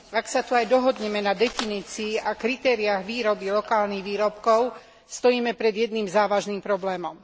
Ak sa tu aj dohodneme na definícii a kritériách výroby lokálnych výrobkov, stojíme pred jedným závažným problémom.